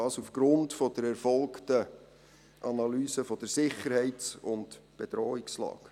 Dies aufgrund der erfolgten Analyse der Sicherheits- und Bedrohungslage.